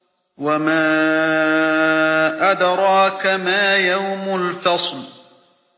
وَمَا أَدْرَاكَ مَا يَوْمُ الْفَصْلِ